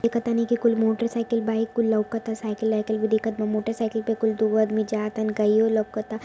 देखत है की कोई motorcycle bike cycle motorcycle पर दो आदमी जात है इनका यई लोकत है।